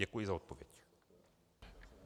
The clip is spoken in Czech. Děkuji za odpověď.